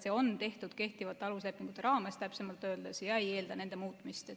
See on tehtud kehtivate aluslepingute raames, täpsemalt öeldes, ega eelda nende muutmist.